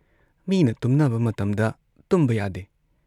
ꯃꯤꯅ ꯇꯨꯝꯅꯕ ꯃꯇꯝꯗ ꯇꯨꯝꯕ ꯌꯥꯗꯦ꯫